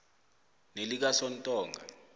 nelikasontonga